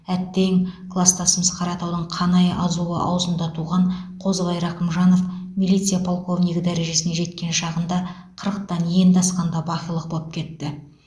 әттең кластасымыз қаратаудың қанай азуы аузында туған қозыбай рақымжанов милиция полковнигі дәрежесіне жеткен шағында қырықтан енді асқанда бақилық боп кетті